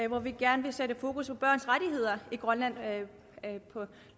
hvor vi gerne vil sætte fokus på børns rettigheder i grønland